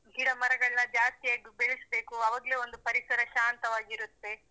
ಗಿಡಮರಗಳ್ನ ಜಾಸ್ತಿಯಾಗಿ ಬೆಳೆಸಬೇಕು. ಆವಾಗ್ಲೇ ಒಂದು ಪರಿಸರ ಶಾಂತವಾಗಿರುತ್ತೆ.